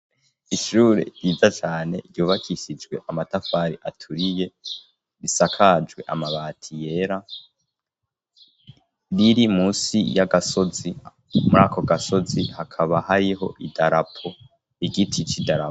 Ishure ryiza cyane ryubakishijwe amatafari aturiye risakajwe amabati yera riri musi y'agasozi muri ako gasozi hakaba hariho idarapo igiti c' idarapo.